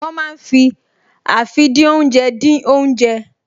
Wọ́n máa ń fi àfìdínoúnjẹ dín oúnjẹ